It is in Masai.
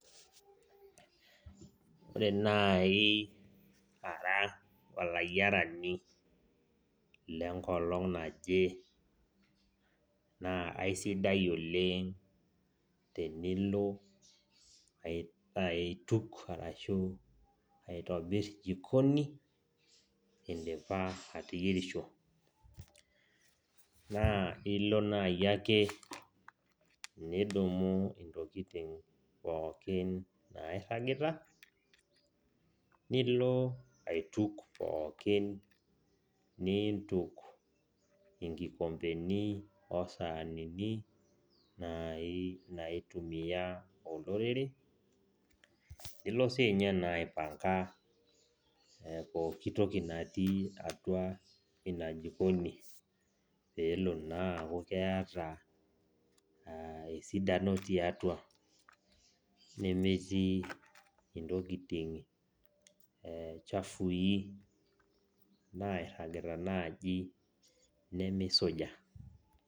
Ore nai ara olayiarani lenkolong naje, naa aisidai oleng tenilo aituk aitobir jikoni, idipa ateyierisho. Naa ilo nai ake nidumu intokiting pookin nairragita, nilo aituk pookin niintuk inkikompeni osaanini, nai naitumia olorere, nilo sinye naa aipanka pooki toki natii atua ina jikoni, peelo naa aku keeta esidano tiatua. Nemetii intokiting chafui nairragita naji nemisuja.